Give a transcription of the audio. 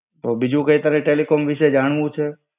તો બીજું કઈ તારે ટેલિકોમ વિશે જાણવું છે?